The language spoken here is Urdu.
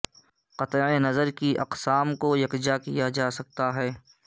قطع نظر کی اقسام کو یکجا کیا جا سکتا ہے